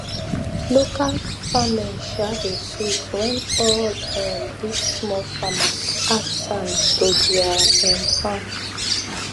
local farming um dey sweet when all um this small farmers add sand to their um farm